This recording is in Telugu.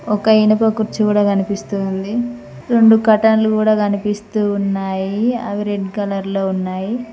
ఒక ఇనుప కుర్చీ గుడా కనిపిస్తూ ఉంది రెండు కర్టన కూడా కనిపిస్తూ ఉన్నాయి అవి రెడ్ కలర్ లో ఉన్నాయి.